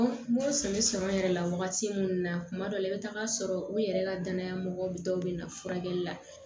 M'o sɛbɛ sɔrɔ yɛrɛ la wagati minnu na kuma dɔ la i bɛ taa sɔrɔ u yɛrɛ la danaya mɔgɔ dɔw bɛ na furakɛli la